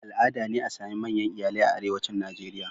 Al'ada ne a sami manyan iyalai a arewacin Najeriya.